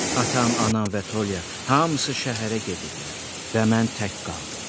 Atam, anam və Tolya hamısı şəhərə gediblər və mən tək qaldım.